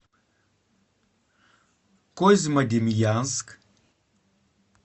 козьмодемьянск